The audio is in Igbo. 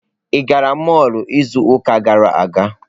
Ị gara mọlụ izu ụka gara aga?